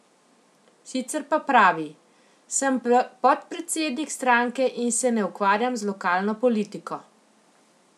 Sicer pa pravi: "Sem podpredsednik stranke in se ne ukvarjam z lokalno politiko".